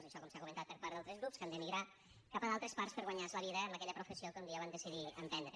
això com s’ha comentat per part d’altres grups que han d’emigrar cap a d’altres parts per guanyar se la vida amb aquella professió que un dia van decidir emprendre